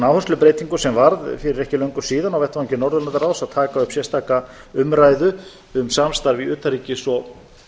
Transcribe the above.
áherslubreytingu sem varð fyrir ekki löngu síðan á vettvangi norðurlandaráðs að taka upp sérstaka umræðu um samstarf í utanríkis og